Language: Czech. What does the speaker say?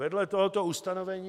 Vedle tohoto ustanovení...